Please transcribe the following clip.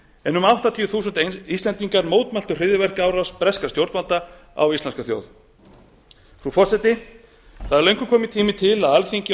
en um áttatíu þúsund íslendingar mótmæli hryðjuverkaárás breskra stjórnvalda á íslenska þjóð frú forseti það er löngu kominn tími til að alþingi og